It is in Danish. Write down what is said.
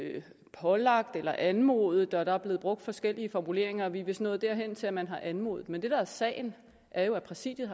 pålagt eller anmodet der er blevet brugt forskellige formuleringer og vi er vist nået der hen til at man har anmodet men det der er sagen er jo at præsidiet